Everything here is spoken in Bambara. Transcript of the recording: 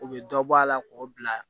U bɛ dɔ bɔ a la k'o bila